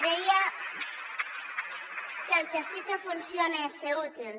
deia que el que sí que funciona és ser útil